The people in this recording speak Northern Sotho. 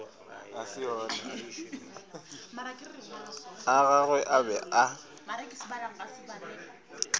a gagwe a be a